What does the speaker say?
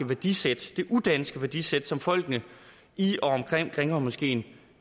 værdisæt det udanske værdisæt som folkene i og omkring grimhøjmoskeen